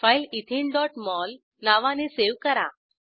file etheneमोल नावाने save करा